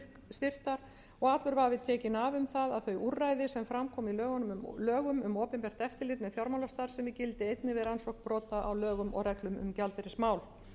styrktar og allur vafi tekinn af um að þau úrræði sem fram koma í lögum um opinbert eftirlit með fjármálastarfsemi gildi einnig við rannsókn brota á lögum og reglum um gjaldeyrismál